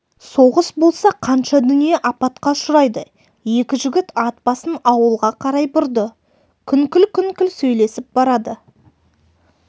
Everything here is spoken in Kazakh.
соғыс болса қанша дүние апатқа ұшырайды екі жігіт ат басын ауылға қарай бұрды күңкіл-күңкіл сөйлесіп барады